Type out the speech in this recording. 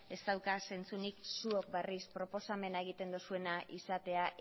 ez dauka zentzurik zuok berriz proposamena egiten duzuena izatea